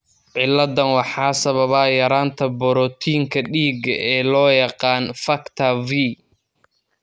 Ciladdan waxaa sababa yaraanta borotiinka dhiigga ee loo yaqaan factor V.